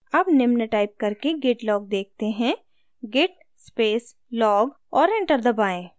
अब निम्न टाइप करें git log देखते हैं git space log और enter दबाएँ